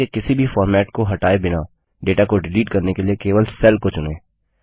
cell के किसी भी फॉर्मेट को हटाए बिना डेटा को डिलीट करने के लिए केवल सेल को चुनें